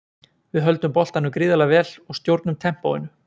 Við höldum boltanum gríðarlega vel og stjórnum tempóinu.